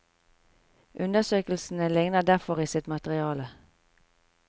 Undersøkelsene ligner derfor i sitt materiale.